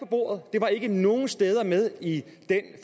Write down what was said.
bordet det var ikke med nogen steder i den